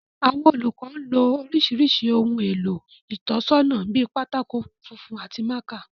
Àwọn olùkọ́ ń lo oríṣiríṣi ohun èlò ìtọ́nisọ́nà bíi pátákó funfun àti mákà